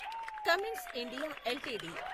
Cummins India LTD